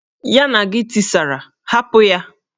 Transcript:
Ya na gi tisara, hapụ ya!